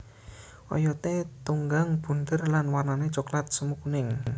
Oyoté tunggang bunder lan warnané coklat semu kuning